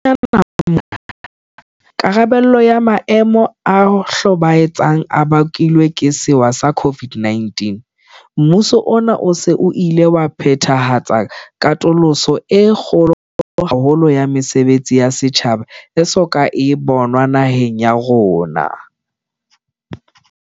Haufinyane mona, karabelong ya maemo a hlobaetsang a bakilweng ke sewa sa COVID-19, mmuso ona o se o ile wa phethahatsa katoloso e kgolo haholo ya mesebetsi ya setjhaba e so ka e bonwa naheng ya rona.